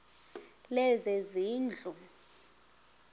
lezezindlu